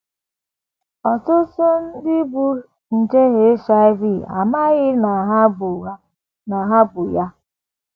Ọtụtụ ndị bu nje HIV amaghị na ha bu na ha bu ya